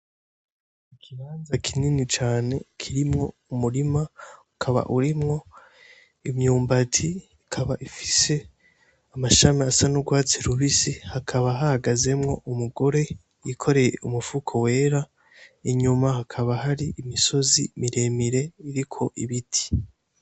Ikibanza kinini cane kirimwo umurima ukaba urimwo imyumbati ikaba ifise amashami asa n’urwatsi rubisi hakaba hahagazemwo umugore yikoreye umufuko wera inyuma hakaba hari imisozi miremire iriko ibiti.